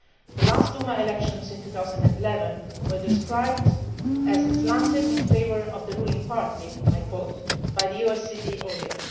The last Duma elections in 2011 were described as slanted in favour of the ruling party' by OSCE ODIHR.